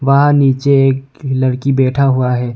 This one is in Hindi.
वहां नीचे एक लड़की बैठा हुआ है।